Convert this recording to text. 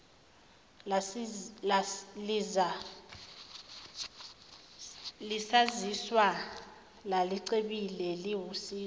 lisazizwa lalicebile liwusizo